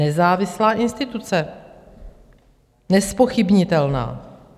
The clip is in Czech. Nezávislá instituce, nezpochybnitelná.